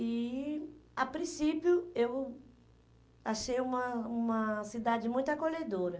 E, a princípio, eu achei uma uma cidade muito acolhedora.